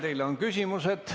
Teile on küsimusi.